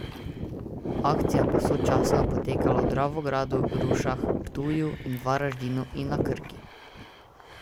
Akcija bo sočasno potekala v Dravogradu, Rušah, Ptuju in Varaždinu in na Krki.